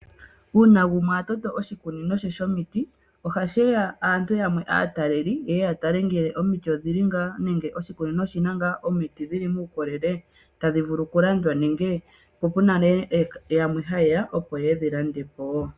Uuna omuntu atoto oshikunino she shomiti ohaku ya aataleli yatale ngele omiti odhili ngaa nawa nenge oshikunino oshina ngaa omiti dhili muukolele tadhi vulu okulandwa, po pena ngaa aatalelipo yamwe haye ya yo yedhi lande po wo.